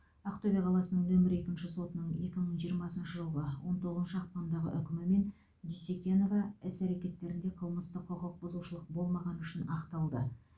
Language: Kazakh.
ақтөбе қаласының нөмірі екінші сотының екі мың жиырмасыншы жылғы он тоғызыншы ақпандағы үкімімен дюсекенова іс әрекеттерінде қылмыстық құқық бұзушылық болмағаны үшін ақталды